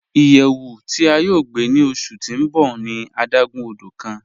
Iyẹwù ti a yọ̀ gbe ni ọṣu ti n bọ̀ ni adágún ọdọ̀ kan.